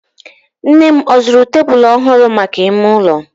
Nnem ọ zụrụ tebulu ọhụrụ maka ime ụlọ?